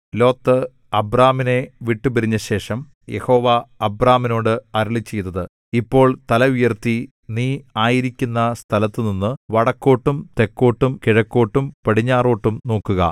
Lot അബ്രാമിനെ വിട്ടുപിരിഞ്ഞശേഷം യഹോവ അബ്രാമിനോട് അരുളിച്ചെയ്തത് ഇപ്പോൾ തല ഉയർത്തി നീ ആയിരിക്കുന്ന സ്ഥലത്തുനിന്നു വടക്കോട്ടും തെക്കോട്ടും കിഴക്കോട്ടും പടിഞ്ഞാറോട്ടും നോക്കുക